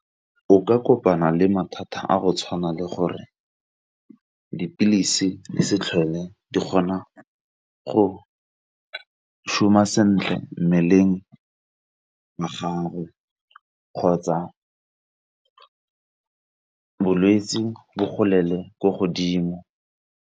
O ka kopana le mathata a go tshwana le gore dipilisi di se tlhole di kgona go šoma sentle mmeleng wa gago, kgotsa bolwetse bo golele ko godimo.